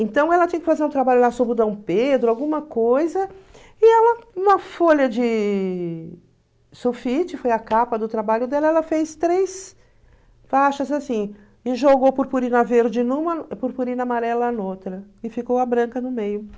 Então ela tinha que fazer um trabalho lá sobre o Dom Pedro, alguma coisa, e ela, uma folha de sulfite, foi a capa do trabalho dela, ela fez três faixas assim, e jogou purpurina verde numa, purpurina amarela noutra, e ficou a branca no meio